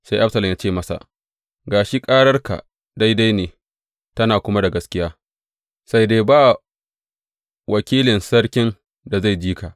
Sai Absalom yă ce masa, Ga shi, ƙararka daidai ne, tana kuma da gaskiya, sai dai ba wakilin sarkin da zai ji ka.